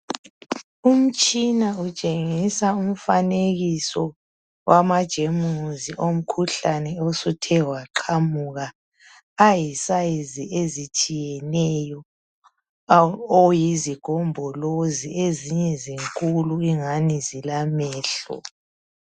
Umtshina utshengisa umfanekiso wama germs omkhuhlane osuthe waqhamuka ayi size ezitshiyeneyo oyizigombolozi ezinye zinkulu ingani zilamehlo.